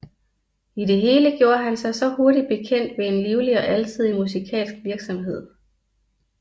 I det hele gjorde han sig hurtig bekendt ved en livlig og alsidig musikalsk virksomhed